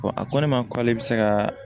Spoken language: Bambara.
a ko ne ma k'ale bɛ se ka